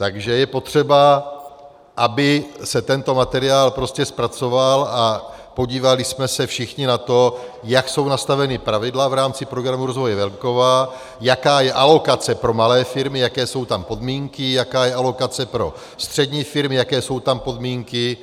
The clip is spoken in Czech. Takže je potřeba, aby se tento materiál prostě zpracoval a podívali jsme se všichni na to, jak jsou nastavena pravidla v rámci Programu rozvoje venkova, jaká je alokace pro malé firmy, jaké jsou tam podmínky, jaká je alokace pro střední firmy, jaké jsou tam podmínky